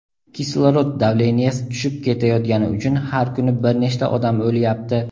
"Kislorod davleniyasi tushib ketayotgani uchun har kuni bir nechta odam o‘lyapti";.